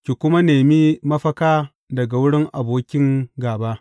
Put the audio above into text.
Ki kuma nemi mafaka daga wurin abokin gāba.